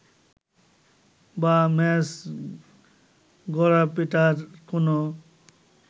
বা ম্যাচ গড়াপেটার কোন